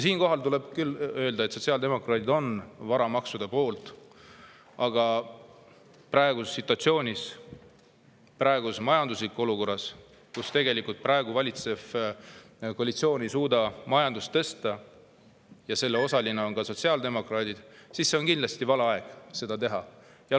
Siinkohal tuleb küll öelda, et sotsiaaldemokraadid on varamaksude poolt, aga praeguses situatsioonis, praeguses majanduslikus olukorras, kus valitsev koalitsioon ei suuda majandust tõsta – ja selle osalised on ka sotsiaaldemokraadid –, on kindlasti vale aeg neid teha.